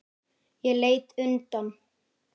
Ég leit undan.